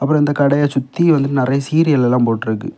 அப்புறம் அந்த கடைய சுத்தி வந்துட்டு நறைய சீரியல்லா போட்டுருக்கு.